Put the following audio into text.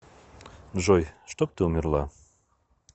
джой чтоб ты умерла